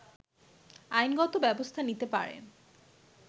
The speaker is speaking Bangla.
আইনগত ব্যবস্থা নিতে পারেন